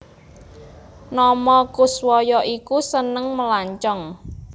Nomo Koeswoyo iku seneng melancong